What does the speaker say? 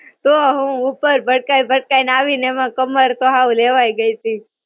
તો હું ઉપર ભટકાઈ ભટકાઈ ને આવીને એમાં કમર તો હાવ લેવાઈ ગઇતી.